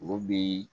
O bi